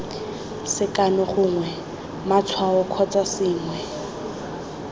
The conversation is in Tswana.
sekano gongwe matshwao kgotsa sengwe